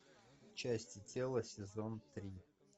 части тела сезон три